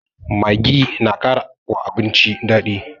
Maggi na kara wa abinci daɗi